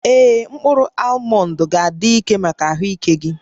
Ee, mkpụrụ almọnd ga-adị mma maka ahụike gị